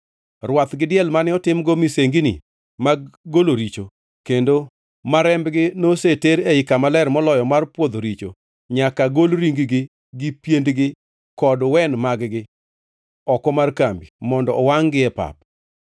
Rwath gi diel mane otimgo misengini mag golo richo, kendo ma rembgi noseter ei Kama Ler Moloyo mar pwodho richo, nyaka gol ring-gi gi piendegi kod wen mag-gi oko mar kambi, mondo owangʼ-gi pep.